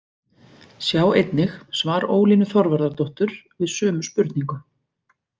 Sjá einnig svar Ólínu Þorvarðardóttur við sömu spurningu.